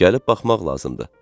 Gəlib baxmaq lazımdır.